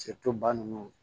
ba ninnu